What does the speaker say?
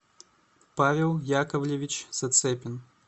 павел яковлевич зацепин